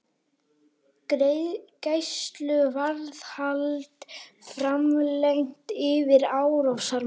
Gæsluvarðhald framlengt yfir árásarmanni